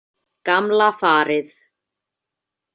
Gamla farið.